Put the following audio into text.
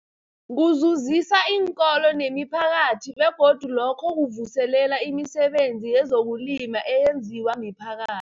Kuzuzisa iinkolo nemiphakathi begodu lokhu kuvuselela imisebenzi yezokulima eyenziwa miphaka